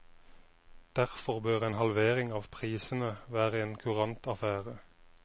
Derfor bør en halvering av prisene være en kurant affære.